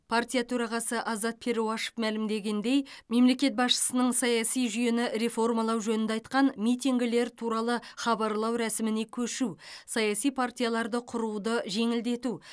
партия төрағасы азат перуашев мәлімдегендей мемлекет басшысының саяси жүйені реформалау жөнінде айтқан митингілер туралы хабарлау рәсіміне көшу саяси партияларды құруды жеңілдету